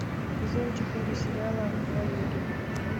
сезон четыре сериала хваюги